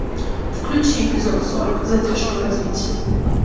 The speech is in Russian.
включи эпизод сорок задержка в развитии